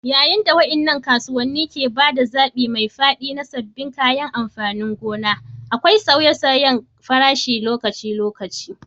Yayin da waɗannan kasuwanni ke ba da zaɓi mai faɗi na sabbin kayan amfanin gona, akwai sauye-sauyen farashi lokaci-lokaci.